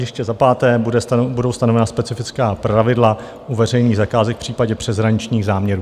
Ještě za páté budou stanovena specifická pravidla u veřejných zakázek v případě přeshraničních záměrů.